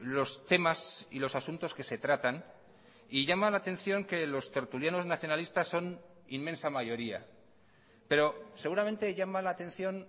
los temas y los asuntos que se tratan y llama la atención que los tertulianos nacionalistas son inmensa mayoría pero seguramente llama la atención